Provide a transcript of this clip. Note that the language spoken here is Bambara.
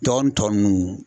Dɔgɔnun tɔ nunnu